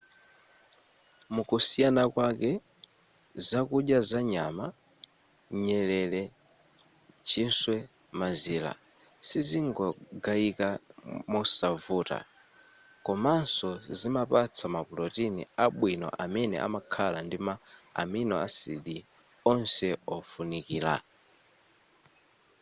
mukusiyana kwake zakudya za nyama nyerere chiswe mazira sizimangogayika mosavuta komanso zimapatsa mapulotini abwino amene amakhala ndi ma amino acid onse ofunikira